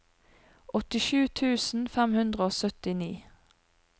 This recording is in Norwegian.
åttisju tusen fem hundre og syttini